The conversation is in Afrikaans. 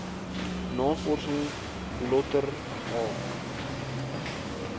navorsing lötter h